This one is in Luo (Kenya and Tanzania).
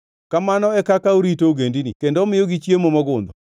Kamano e kaka orito ogendini kendo omiyogi chiemo mogundho.